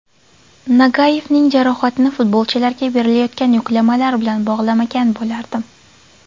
Nagayevning jarohatini futbolchilarga berilayotgan yuklamalar bilan bog‘lamagan bo‘lardim.